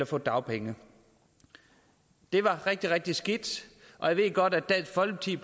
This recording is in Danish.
få dagpenge det var rigtig rigtig skidt jeg ved godt at dansk folkeparti